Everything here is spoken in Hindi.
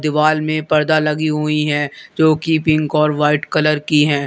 वॉल में पर्दा लगी हुई है जोकि पिक और वाइट कलर की है।